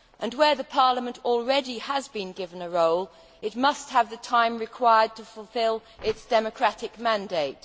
Where Parliament already has been given a role, it must have the time required to fulfil its democratic mandate.